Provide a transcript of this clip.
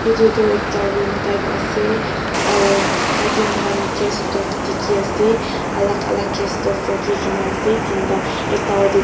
Etu toh ekta room type ase aro tate moikhan gas stoves dekhi ase alak alak gas stoves rakhi kena ase tinta ekta te toh--